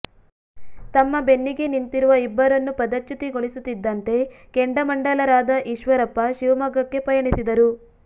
ತಮ್ಮ ಬೆನ್ನಿಗೆ ನಿಂತಿರುವ ಇಬ್ಬರನ್ನು ಪದಚ್ಯುತಿಗೊಳಿಸುತ್ತಿದ್ದಂತೆ ಕೆಂಡಾಮಂಡಲರಾದ ಈಶ್ವರಪ್ಪ ಶಿವಮೊಗ್ಗಕ್ಕೆ ಪಯಣಿಸಿದರು